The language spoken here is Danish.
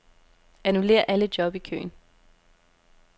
Annullér alle job i køen.